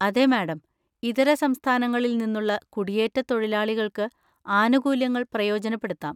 അതെ മാഡം, ഇതര സംസ്ഥാനങ്ങളിൽ നിന്നുള്ള കുടിയേറ്റത്തൊഴിലാളികൾക്ക് ആനുകൂല്യങ്ങൾ പ്രയോജനപ്പെടുത്താം.